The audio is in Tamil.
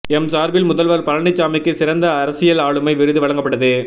எம் சார்பில் முதல்வர் பழனிசாமிக்கு சிறந்த அரசியல் ஆளுமை விருது வழங்கப்பட்டது